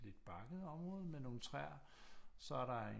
Lidt bakket område med nogle træer så er der en